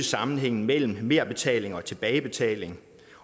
sammenhængen mellem merbetaling og tilbagebetaling